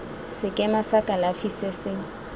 sekema sa kalafi se se